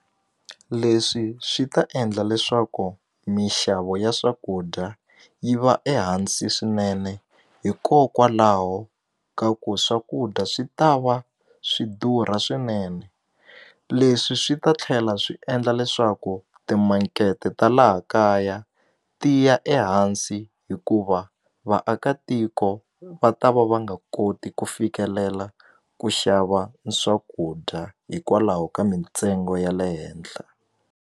Leswi swi ta endla leswaku mixavo ya swakudya yi va ehansi swinene hikokwalaho ka ku swakudya swi ta va swi durha swinene leswi swi ta tlhela swi endla leswaku timankete ta laha kaya tiya ehansi hikuva vaakatiko va ta va va nga koti ku fikelela ku xava swakudya hikwalaho ka mintsengo ya le henhla.